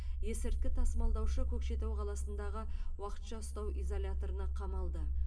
есірткі тасымалдаушы көкшетау қаласындағы уақытша ұстау изоляторына қамалды